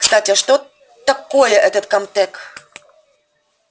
кстати а что такое этот камтек